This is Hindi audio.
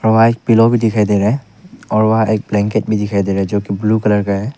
व्हाइट पिलो भी दिखाई दे रहा है और वहां एक ब्लैंकेट भी दिखाई दे रहा है जो कि ब्लू कलर का है।